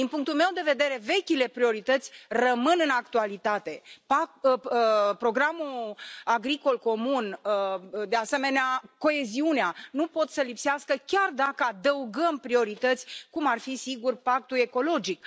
Din punctul meu de vedere, vechile priorități rămân în actualitate programul agricol comun, de asemenea, coeziunea nu pot să lipsească chiar dacă adăugăm priorități, cum ar fi, sigur, pactul ecologic.